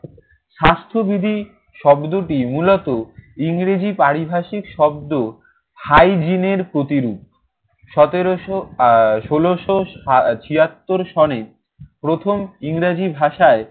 স্বাস্থ্যবিধি শব্দটি মূলত ইংরেজি পারিভাষিক শব্দ hygiene এর প্রতিরূপ। সতেরোশো আহ ষোলোশো আহ ছিয়াত্তর সনে প্রথম ইংরেজি ভাষায়